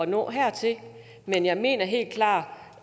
nå hertil men jeg mener helt klart